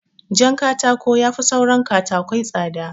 Jankatako yafi saura katakai tsada